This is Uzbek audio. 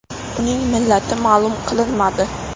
Uning millati ma’lum qilinmadi.